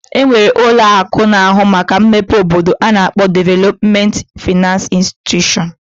E nwere ụlọ akụ na-ahụ maka mmepe obodo a na-akpọ Development finance institution.